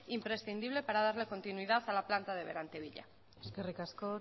imprescindible para darle continuidad a la planta de berantevilla eskerrik asko